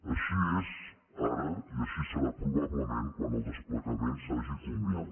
així és ara i així serà probablement quan el desplegament hagi culminat